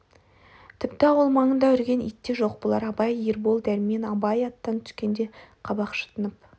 тіпті ауыл маңында үрген ит те жоқ бұлар абай ербол дәрмен абай аттан түскенде қабақ шытынып